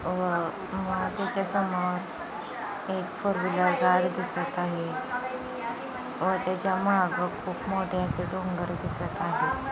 आ त्याच्या समोर एक फोर व्हीलर कार दिसत आहे व त्याच्या माग खूप मोठे असे डोंगर दिसत आहेत.